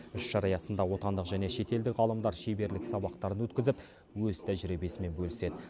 іс шара аясында отандық және шетелдік ғалымдар шеберлік сабақтарын өткізіп өз тәжірибесімен бөліседі